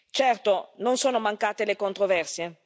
Certo, non sono mancate le controversie.